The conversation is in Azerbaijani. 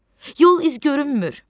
Yol iz görünmür.